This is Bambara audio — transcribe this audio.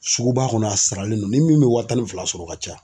Suguba kɔnɔ a saralen don ni min bɛ wa tan ni fila sɔrɔ ka ca.